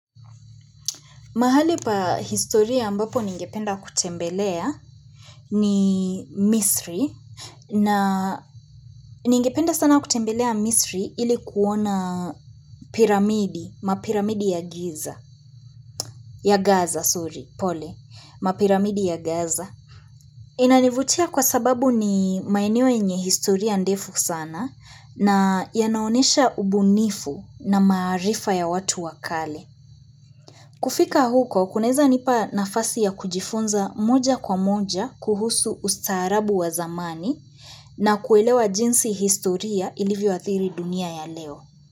Mahali pa historia ambapo ningependa kutembelea ni Misri na ningependa sana kutembelea Misri ili kuona piramidi, mapiramidi ya giza ya Gaza, sorry, pole, mapiramidi ya Gaza. Inanivutia kwa sababu ni maeneo yenye historia ndefu sana na yanaonesha ubunifu na maarifa ya watu wa kale. Kufika huko, kunaeza nipa nafasi ya kujifunza moja kwa moja kuhusu ustaarabu wa zamani, na kuelewa jinsi historia ilivyoathiri dunia ya leo.